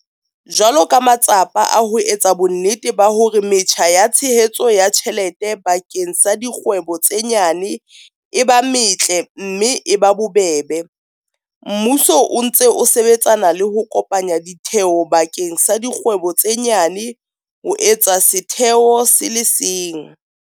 Jwalo ka matsapa a ho etsa bonnete ba hore metjha ya tshehetso ya tjhelete bakeng sa dikgwebo tse nyane e ba metle mme e ba bobebe, mmuso o ntse o sebetsana le ho kopanya ditheo bakeng sa dikgwebo tse nyane ho etsa setheo se le seng.